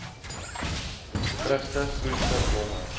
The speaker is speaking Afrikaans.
vrugte groente blomme